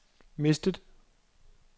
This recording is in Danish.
mistet